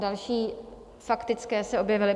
Další faktické se objevily.